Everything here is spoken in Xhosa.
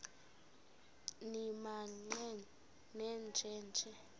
nimaqe nenje nje